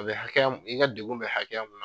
A bɛ hakɛya di, i ka degun bɛ hakɛya mun